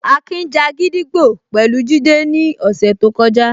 Akin ja gídígbò pẹ̀lú Jide ní ọ̀sẹ̀ tó kọjá